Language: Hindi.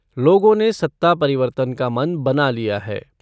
लोगों ने सत्ता परिवर्तन का मन बना लिया है।